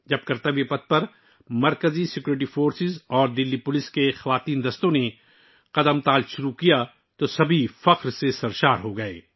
جب مرکزی security forces اور دہلی پولیس کی خواتین دستوں نے کرتویہ پتھ پر مارچ کرنا شروع کیا تو ہر کوئی فخر سے بھر گیا